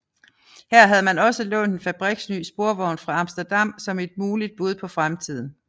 Her havde man også lånt en fabriksny sporvogn fra Amsterdam som et muligt bud på fremtiden